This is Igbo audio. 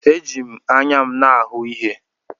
Eji m anya m na-ahụ ihe.